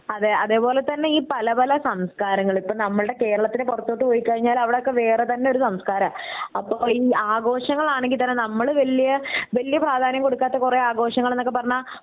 അതെ അതേപോലെ തന്നെ ഈ പല പല സംസ്കാരങ്ങൾ ഇപ്പൊ നമ്മുടെ കേരളത്തിന് പൊറത്തോട്ട് പോയി കഴിഞ്ഞാൽ അവിടൊക്കെ വേറെ തന്നെ ഒരു സംസ്കാരാ അപ്പൊ ഈ ആഘോഷങ്ങൾ ആണെങ്കി തന്നെ നമ്മൾ വല്യ വല്യ പ്രാധ്യാനം കൊടുക്കാതെ കൊറേ ആഘോഷങ്ങൾന്ന് ഒക്കെ പറഞ്ഞാൽ